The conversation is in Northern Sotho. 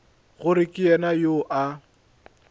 gore ke yena yo a